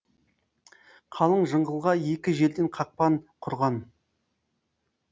қалың жыңғылға екі жерден қақпан құрған